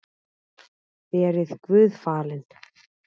Verið Guði falin.